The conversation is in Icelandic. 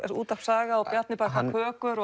útvarp Saga og Bjarni bakar kökur